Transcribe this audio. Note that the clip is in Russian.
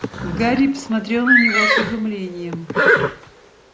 гарри посмотрел на него с изумлением